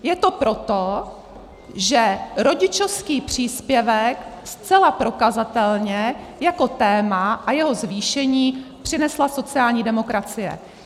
Je to proto, že rodičovský příspěvek zcela prokazatelně jako téma, a jeho zvýšení, přinesla sociální demokracie.